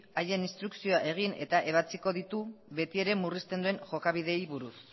haien instrukzioa egin eta ebatziko ditu betiere murrizten duen jokabideen buruz